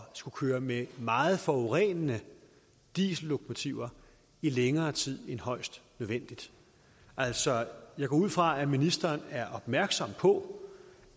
skulle køre med meget forurenende diesellokomotiver i længere tid end højst nødvendigt altså jeg går ud fra at ministeren er opmærksom på